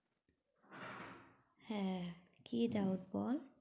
হ্যাঁ, কি doubt বল?